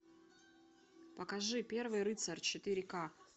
покажи первый рыцарь четыре ка